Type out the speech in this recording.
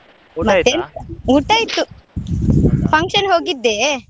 ಊಟ ಆಯ್ತು, function ಹೋಗಿದ್ದೆ.